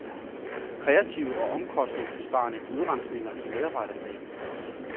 Kreative og omkostningsbesparende udrensninger i medarbejderstaben.